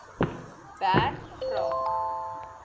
berg vra